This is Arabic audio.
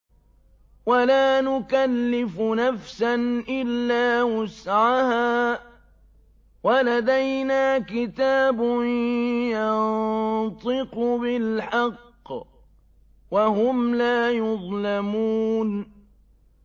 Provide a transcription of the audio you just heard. وَلَا نُكَلِّفُ نَفْسًا إِلَّا وُسْعَهَا ۖ وَلَدَيْنَا كِتَابٌ يَنطِقُ بِالْحَقِّ ۚ وَهُمْ لَا يُظْلَمُونَ